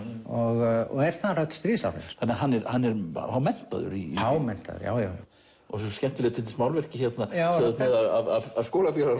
og er þar öll stríðsárin þannig að hann er hann er hámenntaður hámenntaður já já svo skemmtilegt til dæmis málverkið hérna sem þú ert með af skólafélaga